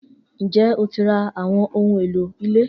Njẹ o ti ra awọn ohun elo ile